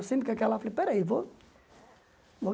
Eu sempre com aquela falei, peraí, vou vou